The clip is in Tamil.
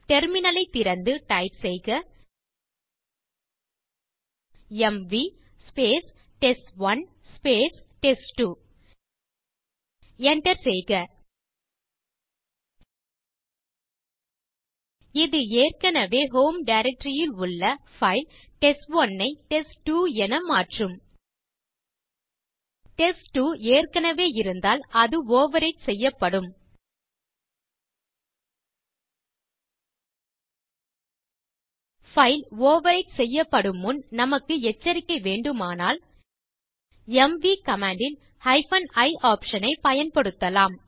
டெர்மினல் திறந்து டைப் செய்க எம்வி டெஸ்ட்1 டெஸ்ட்2 enter செய்க இது ஏற்கனவே ஹோம் டைரக்டரி ல் உள்ள பைல் டெஸ்ட்1 ஐ டெஸ்ட்2 என மாற்றும் டெஸ்ட்2 ஏற்கனவே இருந்தால் இது ஓவர்விரைட் செய்யப்படும் பைல் ஓவர்விரைட் செய்யப்படும் முன் நமக்கு எச்சரிக்கை வேண்டுமானால் எம்வி கமாண்ட் ல் i ஆப்ஷன் ஐப் பயன்படுத்தலாம்